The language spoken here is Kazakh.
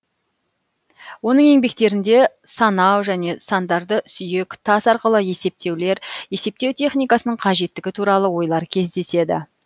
оның еңбектерінде санау және сандарды сүйек тас арқылы есептеулер есептеу техникасының қажеттігі туралы ойлар кездеседі